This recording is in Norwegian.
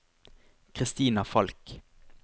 Kristina Falch